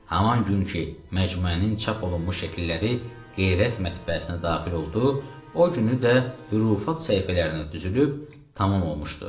Haman gün ki, məcmuənin çap olunmuş şəkilləri Qeyrət mətbəəsinə daxil oldu, o günü də hurufat səhifələrinə düzülüb tamam olmuşdu.